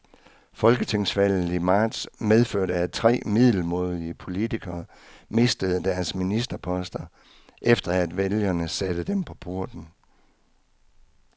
Folketingsvalget i marts medførte, at tre middelmådige politikere mistede deres ministerposter, efter at vælgerne satte dem på porten.